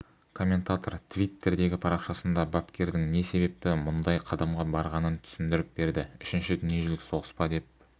комментатор твиттердегі парақшасында бапкердің не себепті мұндай қадамға барғанын түсіндіріп берді үшінші дүниежүзілік соғыс па деп